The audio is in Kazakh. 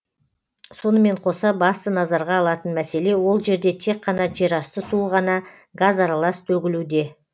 сонымен қоса басты назарға алатын мәселе ол жерде тек қана жерасты суы ғана газаралас төгілуде